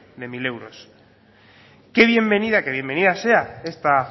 de mil euros que bienvenida que bienvenida sea esta